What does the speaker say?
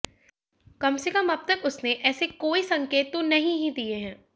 कम से कम अब तक उसने ऐसे कोई संकेत तो नहीं ही दिए हैं